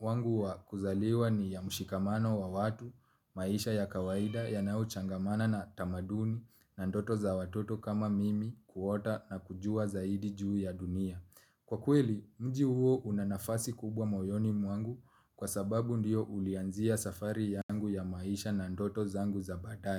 wangu wakuzaliwa ni ya mshikamano wa watu, maisha ya kawaida yanayo changamana na tamaduni, na ndoto za watoto kama mimi kuota na kujua zaidi juu ya dunia. Kwa kweli, mji huo unanafasi kubwa moyoni mwangu kwa sababu ndiyo ulianzia safari yangu ya maisha na ndoto zangu za badaye.